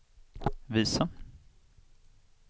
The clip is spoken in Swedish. visa